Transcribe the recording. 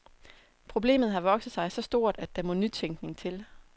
Problemet har vokset sig så stort, at der må nytænkning til.